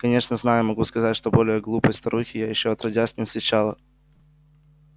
конечно знаю могу сказать что более глупой старухи я ещё отродясь не встречала